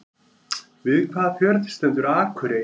Við hvaða fjörð stendur Akurey?